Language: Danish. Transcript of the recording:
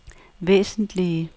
væsentlige